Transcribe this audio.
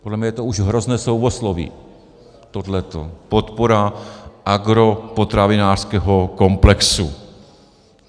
Podle mě je to už hrozné sousloví, tohleto, podpora agropotravinářského komplexu.